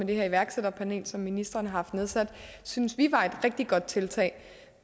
det her iværksætterpanel som ministeren har haft nedsat synes vi var et rigtig godt tiltag